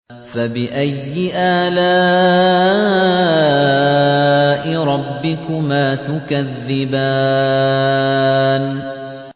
فَبِأَيِّ آلَاءِ رَبِّكُمَا تُكَذِّبَانِ